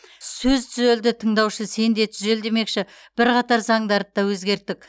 сөз түзелді тыңдаушы сен де түзел демекші бірқатар заңдарды да өзгерттік